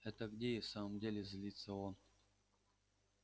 это где и в самом деле злится он